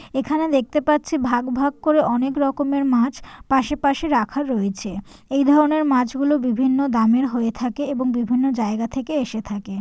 এখানে দেখতে পাচ্ছি ভাগ ভাগ করে অনেক রকমের মাছ পাশে পাশে রাখা রয়েছে। । এই ধরনের মাছগুলো বিভিন্ন দামের হয়ে থাকে এবং বিভিন্ন জায়গা থেকে এসে থাকে।